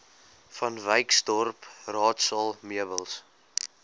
vanwyksdorp raadsaal meubels